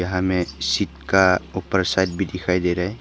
यहां में सीट का ऊपर साइड भी दिखाई दे रहा है।